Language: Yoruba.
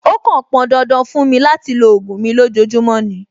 Ó kàn pọn dandan fún mi láti lo ògùn mi lójoojúmọ́ ni.